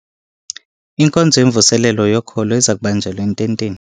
Inkonzo yemvuselelo yokholo iza kubanjelwa ententeni.